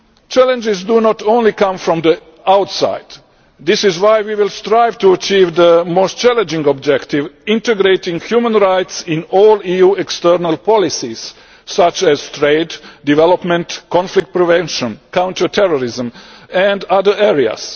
Challenges do not only come from the outside, which is why we will strive to achieve the most challenging objective integrating human rights in all EU external policies such as trade, development, conflict prevention, counter terrorism and other areas.